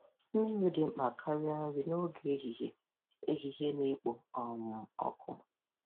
Mmiri dị mkpa karịa nri n'oge ehihie ehihie na-ekpo um ọkụ.